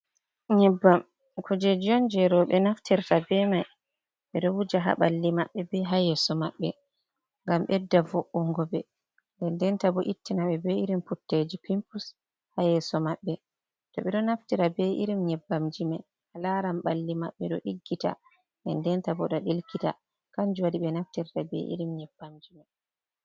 Nyebbam, kujeji on je robe naftirta be mai, ɓe do wuja ha balli maɓɓe ɓe ha yeso maɓɓe, ngam ɓedda vo’ungo ɓe, dendenta bo ittina ɓe be irin putteji pimpus ha yeso maɓɓe, to ɓe do naftira be irim nyebbam jime, a laran balli maɓɓe do diggita, dendenta bo do ɗelkita, kanju waɗi ɓe naftirta be irim nyebbam jime.